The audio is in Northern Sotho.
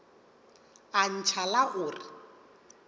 a ntšha la go re